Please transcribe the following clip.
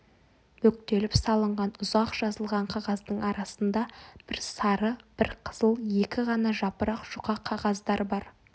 бүктеліп салынған ұзақ жазылған қағаздың арасында бір сары бір қызыл екі ғана жапырақ жұқа қағаздар бар